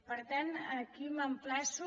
per tant aquí m’emplaço